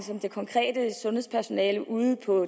det konkrete sundhedspersonale ude på